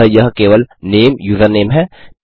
अतः यह केवल नामे यूजरनेम है